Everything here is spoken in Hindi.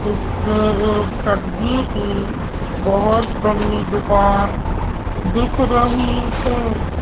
एक सब्जी की बहोत बड़ी दुकान दिख रही है।